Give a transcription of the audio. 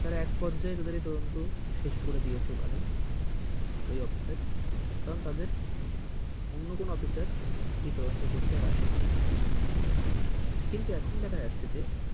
তারা এক পর্যায়ে তাদের এই তদন্ত শেষ করে দিয়েছে ওখানে ওই অফিসার কারণ তাদের অন্য কোনো অফিসার এই তদন্ত করতে আর আসেনি। কিন্তু এখন দেখা যাচ্ছে যে,